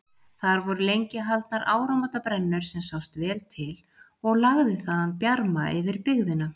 Þar voru lengi haldnar áramótabrennur sem sást vel til og lagði þaðan bjarma yfir byggðina.